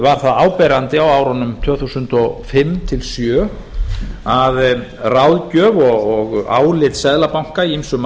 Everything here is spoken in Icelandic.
var það áberandi á árunum tvö þúsund og fimm til tvö þúsund og sjö að ráðgjöf og álit seðlabanka í ýmsum